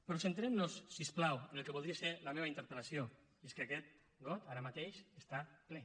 però centrem nos si us plau en el que voldria ser la meva interpel·lació i és que aquest got ara mateix està ple